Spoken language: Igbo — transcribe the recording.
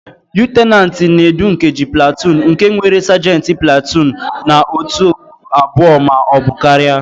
Lutenantị na-edu nkeji platuun nke nwere sajenti platuun na otù abụọ ma ọ bụ karịa.